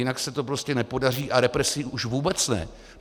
Jinak se to prostě nepodaří, a represí už vůbec ne.